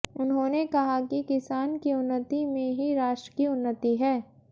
उन्होंने कहा कि किसान की उन्नति में ही राष्ट्र की उन्नति है